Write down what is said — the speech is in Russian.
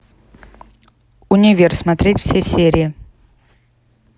универ смотреть все серии